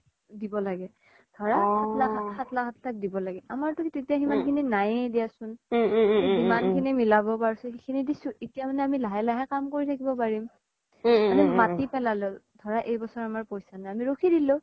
দিব লাগে ধৰা সাত লাখ আথ লাখ দিব লাগে আমাৰ তো তেতিয়া ইমান খিনি নাইয়ে দিয়াচোন জিমান খিনি মিলাব পাৰিছো খিনিনি দিচো এতিয়া মানে আমি লাহে লাহে কাম কৰি থাকিব পাৰিম আমি মাতি পেলালো ধৰা এই ব্ছৰ আমাৰ পইচা নাই আমি ৰখি দিলো